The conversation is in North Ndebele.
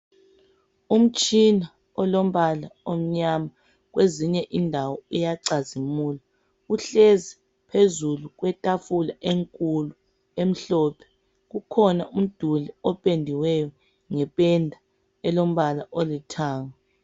Umtshina olombala omnyama kwezinye indawo uyacazimula uhlezi phezulu kwetafula enkulu emhlophe. Kukhona umduli opendiweyo ngependa elombala olithanga.